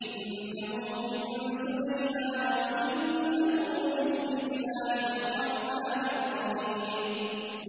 إِنَّهُ مِن سُلَيْمَانَ وَإِنَّهُ بِسْمِ اللَّهِ الرَّحْمَٰنِ الرَّحِيمِ